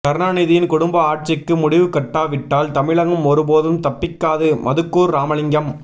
கருணாநிதியின் குடும்ப ஆட்சிக்கு முடிவு கட்டாவிட்டால் தமிழகம் ஒரு போதும் தப்பிக்காது மதுக்கூர் ராமலிங்கம்